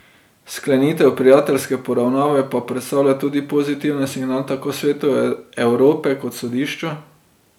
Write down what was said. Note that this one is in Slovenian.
Sklenitev prijateljske poravnave pa predstavlja tudi pozitiven signal tako Svetu Evrope kot sodišču.